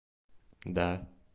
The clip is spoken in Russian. да